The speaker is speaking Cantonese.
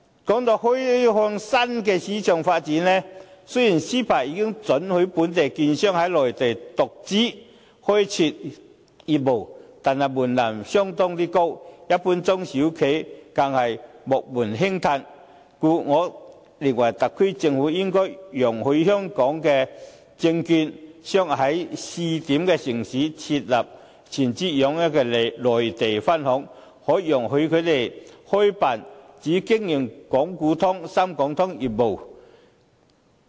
談到開發新市場發展，雖然 CEPA 已經准許本地券商在內地獨資開設業務，但門檻相當高，一般中小企更是望門興嘆，故我認為特區政府應該容許香港證券商在試點城市設立全資擁有的內地分行，可以容許他們開辦只經營港股通、深港通業務的內地分行。